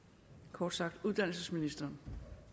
kort sagt uddannelsesministeren